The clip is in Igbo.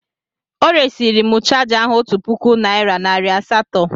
O resịrị m chaja ahu otu puku naịra nari asatọ.